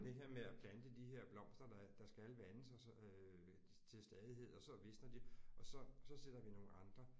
Det her med at plante de her blomster der der skal vandes og så til stadighed og så visner de og så så sætter vi nogle andre